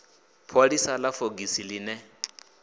pholisa ḽa fogisi ḽi ne